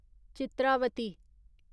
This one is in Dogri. चित्रावती